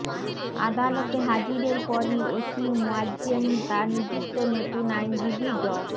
আদালতে হাজিরের পরই ওসি মোয়াজ্জেম তাঁর নিযুক্ত নতুন আইনজীবী ড